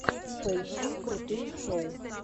поищи крутые шоу